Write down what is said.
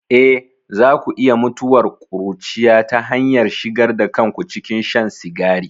Eh, za ku iya mutuwar ƙuruciya ta hanyar shigar da kanku cikin shan sigari.